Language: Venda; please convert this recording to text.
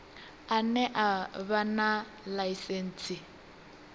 ane a vha na ḽaisentsi